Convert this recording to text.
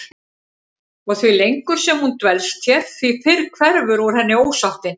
Og því lengur sem hún dvelst hér því fyrr hverfur úr henni ósáttin.